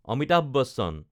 Amitabh Bachchan